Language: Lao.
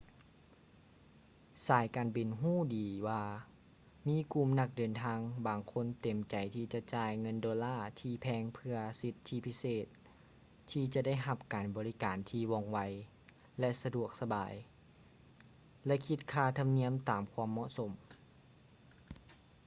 ສາຍການບິນຮູ້ດີວ່າມີກຸ່ມນັກເດີນທາງບາງຄົນເຕັມໃຈທີ່ຈະຈ່າຍເງິນໂດລາທີ່ແພງເພຶ່ອສິດທິພິເສດທີ່ຈະໄດ້ຮັບການບໍລິການທີ່ວ່ອງໄວ ແລະ ສະດວກສະບາຍ ແລະ ຄິດຄ່າທຳນຽມຕາມຄວາມເໝາະສົມ